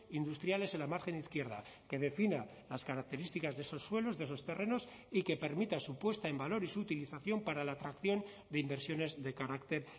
industriales en la margen izquierda que defina las características de esos suelos de esos terrenos y que permita su puesta en valor y su utilización para la atracción de inversiones de carácter